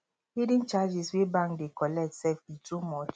hidden charges wey bank dey collect sef e too much